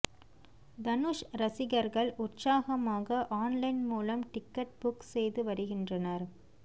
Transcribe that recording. தனுஷ் ரசிகர்கள் உற்சாகமாக ஆன்லைன் மூலம் டிக்கெட் புக் செய்து வருகின்றனர்